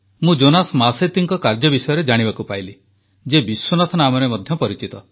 ମୁଁ ଜୋନାସ୍ ମାସେତୀଙ୍କ କାର୍ଯ୍ୟ ବିଷୟରେ ଜାଣିବାକୁ ପାଇଲି ଯିଏ ବିଶ୍ୱନାଥ ନାମରେ ମଧ୍ୟ ପରିଚିତ